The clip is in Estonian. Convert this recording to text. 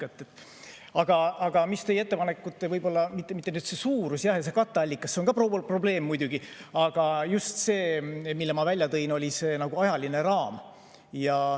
Aga teie ettepanekute puhul pole võib-olla mitte suurus ja katteallikas – see on ka probleem muidugi –, vaid just see, mille ma välja tõin, see ajaline raam.